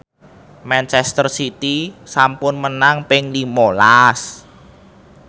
manchester city sampun menang ping lima las